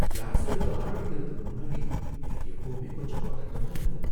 Class எடுக்க ஆரம்பிக்கிறதுக்கு முன்னாடி எனக்கு எப்பவுமே கொஞ்சம் பதட்டமா இருக்கும்.